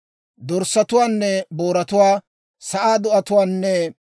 Dorssatuwaanne booratuwaa, sa'aa do'atuwaanne,